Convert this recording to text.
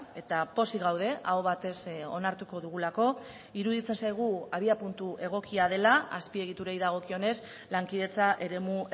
eta pozik gaude aho batez onartuko dugulako iruditzen zaigu abiapuntu egokia dela azpiegiturei dagokionez lankidetza eremu